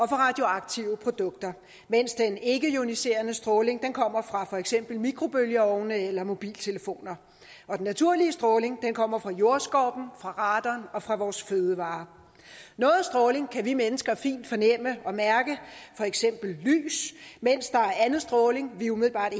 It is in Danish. radioaktive produkter mens den ikkeioniserende stråling kommer fra for eksempel mikrobølgeovne eller mobiltelefoner den naturlige stråling kommer fra jordskorpen fra radon og fra vores fødevarer noget stråling kan vi mennesker fint fornemme og mærke for eksempel lys mens der er anden stråling vi umiddelbart